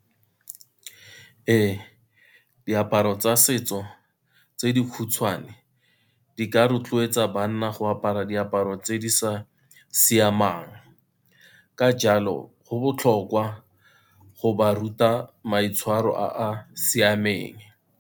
Ee, diaparo tsa setso tse dikhutshwane di ka rotloetsa banna go apara diaparo tse di sa siamang, ka jalo go botlhokwa go ba ruta maitshwaro a a siameng.